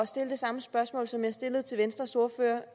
stille det samme spørgsmål som jeg stillede til venstres ordfører